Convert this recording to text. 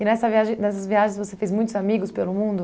E nessa viagem nessas viagens você fez muitos amigos pelo mundo?